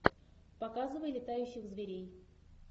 показывай летающих зверей